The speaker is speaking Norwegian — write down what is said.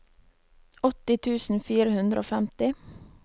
åtti tusen fire hundre og femti